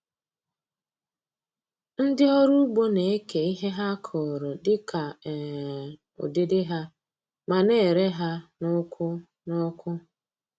Ndị ọrụ ugbo na-eke ihe ha kụrụ dị ka um ụdịdị ha, ma na-ere ha n’ukwu n'ukwu.